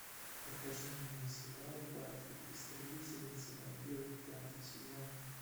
покажи мне сериал баффи истребительница вампиров пятый сезон